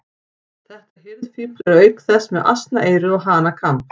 Þetta hirðfífl er auk þess með asnaeyru og hanakamb.